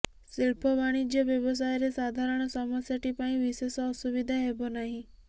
ଶିଳ୍ପ ବାଣିଜ୍ୟ ବ୍ୟବସାୟରେ ସାଧାରଣ ସମସ୍ୟାଟି ପାଇଁ ବିଶେଷ ଅସୁବିଧା ହେବ ନାହିଁ